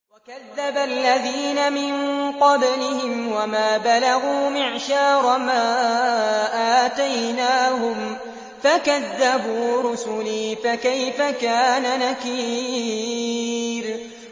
وَكَذَّبَ الَّذِينَ مِن قَبْلِهِمْ وَمَا بَلَغُوا مِعْشَارَ مَا آتَيْنَاهُمْ فَكَذَّبُوا رُسُلِي ۖ فَكَيْفَ كَانَ نَكِيرِ